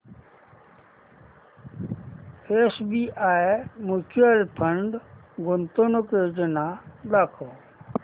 SBI mutual fund गुंतवणूक योजना दाखव